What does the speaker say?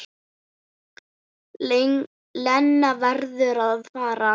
Lena verður að fara.